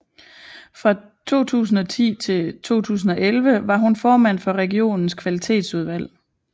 Fra 2010 til 2011 var hun formand for regionens kvalitetsudvalg